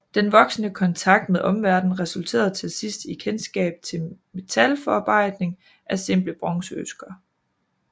Den voksende kontakt med omverdenen resulterede til sidst i kendskab til metalforarbejdning af simple bronzeøkser